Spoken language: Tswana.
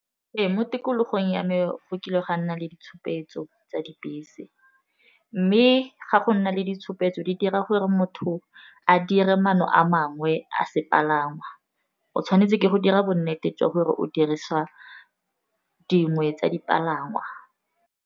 Ee, mo tikologong ya me go kile gwa nna le ditshupetso tsa dibese, mme ga go nna le ditshupetso di dira gore motho a dire manno a mangwe a sepalangwa, o tshwanetse ke go dira bonnete jwa gore o dirisa dingwe tsa dipalangwa.